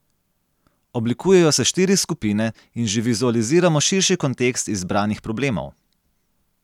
Oblikujejo se štiri skupine in že vizualiziramo širši kontekst izbranih problemov.